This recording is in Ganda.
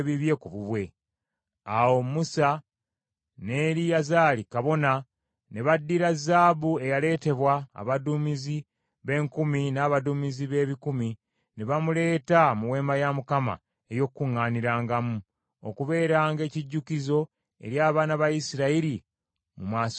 Awo Musa ne Eriyazaali kabona ne baddira zaabu eyaleetebwa abaduumizi b’enkumi n’abaduumizi b’ebikumi, ne bamuleeta mu Weema ey’Okukuŋŋaanirangamu, okubeeranga ekijjukizo eri abaana ba Isirayiri mu maaso ga Mukama Katonda.